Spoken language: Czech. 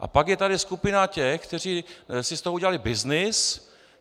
A pak je tady skupina těch, kteří si z toho udělali byznys.